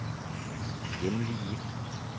hjemlige